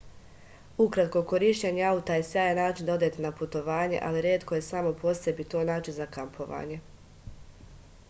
ukratko korišćenje auta je sjajan način da odete na putovanje ali retko je samo po sebi to način za kampovanje